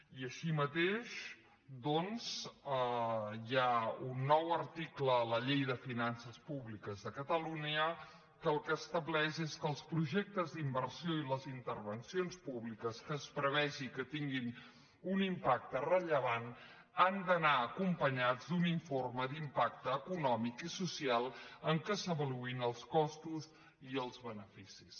i així mateix doncs hi ha un nou article a la llei de finances públiques de catalunya que el que estableix és que els projectes d’inversió i les intervencions públiques que es prevegi que tinguin un impacte rellevant han d’anar acompanyats d’un informe d’impacte econòmic i social en què se n’avaluïn els costos i els beneficis